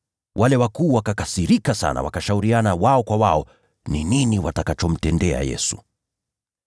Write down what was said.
Wale wakuu wakakasirika sana, wakashauriana wao kwa wao ni nini watakachomtendea Yesu.